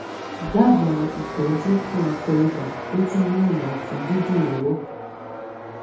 dábàá ìtọ́jú fún akọ ibà tó tún mú ọ̀nà ọ̀fun dídùn lọ́wọ́